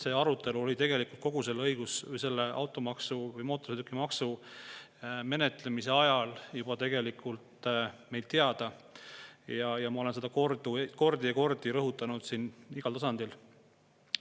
See arutelu käis tegelikult kogu selle automaksu või mootorsõidukimaksu menetlemise ajal, see probleem oli tegelikult meile teada ja ma olen seda kordi ja kordi rõhutanud siin igal tasandil.